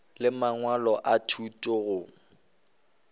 le mangwalo a thuto go